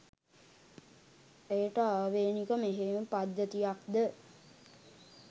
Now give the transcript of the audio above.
එයට ආවෙණික මෙහෙයුම් පද්ධතියක්ද